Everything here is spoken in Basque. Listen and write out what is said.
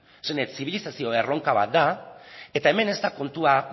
esan nahi dut zibilizazio erronka bat da eta hemen ez da kontua